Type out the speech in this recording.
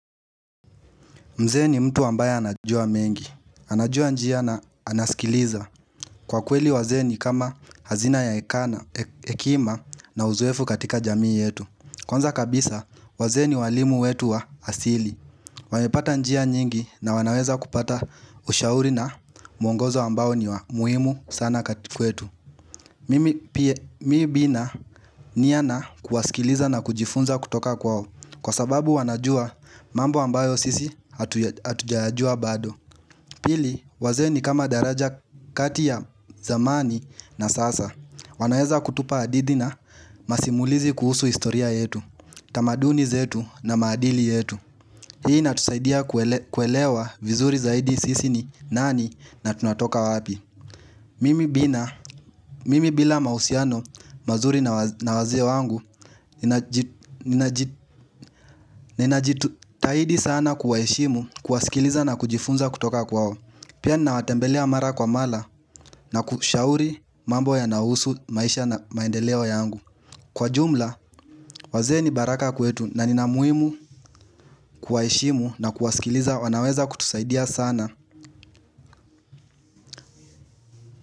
Mzee ni mtu ambaye anajua mengi. Anajua njia na anaskiliza. Kwa kweli wazee ni kama hazina ya hekima na uzoefu katika jamii yetu. Kwanza kabisa, wazee ni walimu wetu wa asili. Wamepata njia nyingi na wanaweza kupata ushauri na mwongozo ambao ni wa muhimu sana kati kwetu. Mimi bina nia na kuwasikiliza na kujifunza kutoka kwao Kwa sababu wanajua mambo ambayo sisi hatujayajua bado Pili wazee ni kama daraja kati ya zamani na sasa wanaeza kutupa hadithi na masimulizi kuhusu historia yetu tamaduni zetu na maadili yetu Hii inatusaidia kuelewa vizuri zaidi sisi ni nani na tunatoka wapi Mimi bina Mimi bila mahusiano, mazuri na wazee wangu, ninajitahidi sana kuwaheshimu, kuwasikiliza na kujifunza kutoka kwao Pia ninawatembelea mara kwa mara na kushauri mambo yanaahusu maisha na maendeleo yangu Kwa jumla, wazee ni baraka kwetu na nina muhimu kuwaheshimu na kuwasikiliza wanaweza kutusaidia sana.